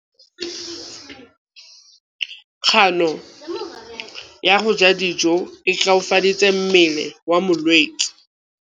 Kganô ya go ja dijo e koafaditse mmele wa molwetse.